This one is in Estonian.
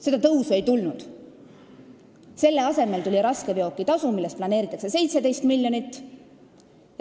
Seda tõusu ei tulnud, selle asemel tuli raskeveokitasu, millest planeeritakse saada 17 miljonit.